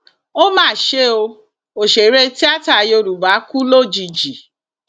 ó mà ṣe o òṣèré tìata yorùbá kú lójijì